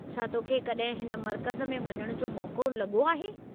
छा तो खे कॾहिं हिन मर्कज़ में वञण जो मौक़ो लॻो आहे?